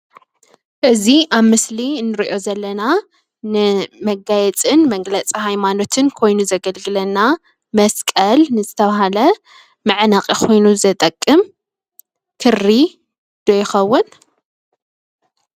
እዚ ኣብ ምስሊ እንሪኦ ዘለና ንመጋየፅን መግለፂ ሃይማኖትን ኮይኑ ዘገልግልና መስቀል ንዝተባሃለ መዕነቒ ኾይኑ ዝጠቅም ክሪ ዶ ይከውን ?